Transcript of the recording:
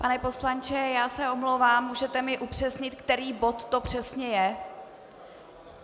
Pane poslanče, já se omlouvám, můžete mi upřesnit, který bod to přesně je?